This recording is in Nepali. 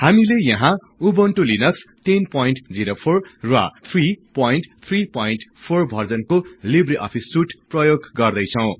हामीले यहाँ उबुन्टु लिनक्स 1004 र 334 भर्जनको लिब्रे अफिस सुट प्रयोग गर्दैछौं